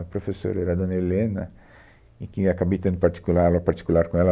A professora era a dona Helena e quem acabei tendo particular, aula particular com ela.